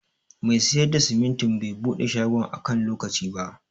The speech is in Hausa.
Mai siyar da simintin bai buɗe shagon a kan lokaci ba.